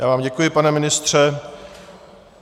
Já vám děkuji, pane ministře.